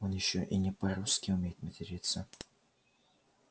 он ещё и не по-русски умеет материться